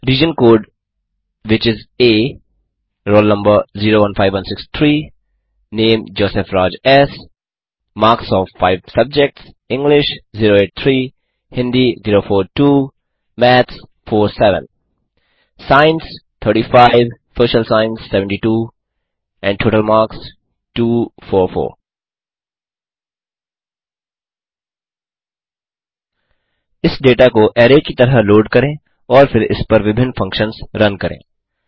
region code which is a roll number 015163 name Joseph Raj S marks of 5 subjects English 083 Hindi 042 maths 47 science 35 Social science 72 and total marks 244 इस data को array की तरह load करें और फिर इसपर विभिन्न फंक्शन्स रन करें